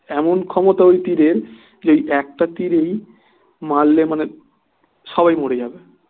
এমন ক্ষমতা ওই তীরের যে একটা তীরেই মারলে মানে সবাই মরে যাবে